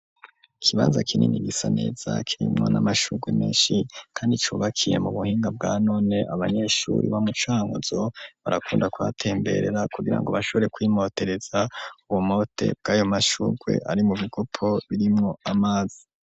Ikibaza kinini gisaneza kiremwa n'amashurwe menshi, kandi cubakiye mu buhinga bwa none abanyeshuri bo mucanuzo barakunda kubatemberera kugira ngo bashobore kwimotereza uwumote bw'ayo mashurwe ari mu bigopo birimwo amazi.